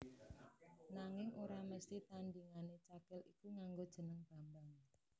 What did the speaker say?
Nanging ora mesthi tandhingané Cakil iku nganggo jeneng Bambang